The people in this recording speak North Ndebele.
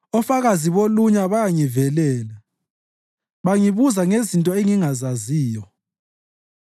Ofakazi bolunya bayangivelela; bangibuza ngezinto engingazaziyo.